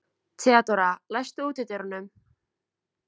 Theodóra, læstu útidyrunum.